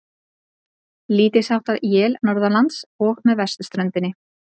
Lítilsháttar él norðanlands og með vesturströndinni